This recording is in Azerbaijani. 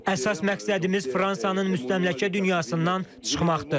Əsas məqsədimiz Fransanın müstəmləkə dünyasından çıxmaqdır.